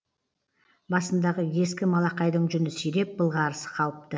басындағы ескі малақайдың жүні сиреп былғарысы қалыпты